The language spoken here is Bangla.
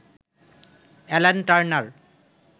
Alan Turner